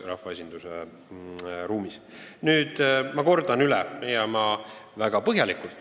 Nüüd ma kordan üle.